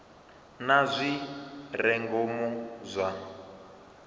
na zwi re ngomu zwa